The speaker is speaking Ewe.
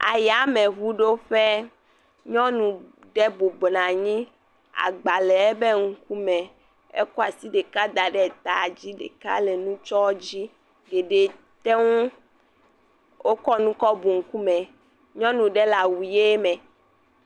Ayameŋuɖoƒe, nyɔnu ɖe bubuna nyi, agba le ebe ŋku me, ekɔ asi ɖeka da ɖe ta dzi, ɖeka le nutsɔɔ dzi, ɖeɖee te ŋu, wokɔ nu kɔ bu ŋkume, nyɔnu ɖe le awu ʋe me.